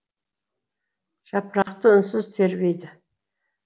жапырақты үнсіз тербейді